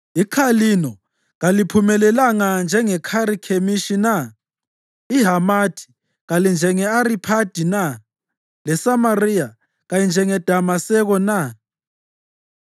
IKhalino kaliphumelelanga njengeKharikhemishi na? IHamathi kalinjenge-Ariphadi na? LeSamariya kayinjengeDamaseko na?